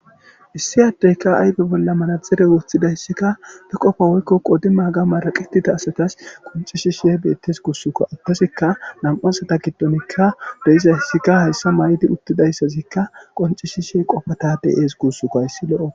Issi addeyka ayfe bolla manaxire woththidayssikka be qofa woykko qoodi maaga maraqetita asatas qonccishishe beettes guussukko. Hasikka nami'u asata giddonikka deyiza hissikka hayssa may'idi uttidayssazikka qoncishishe qofatade ees guussuko hayssi lo7o.